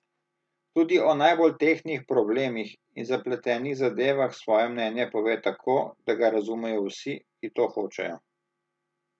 Tudi o najbolj tehtnih problemih in zapletenih zadevah svoje mnenje pove tako, da ga razumejo vsi, ki to hočejo.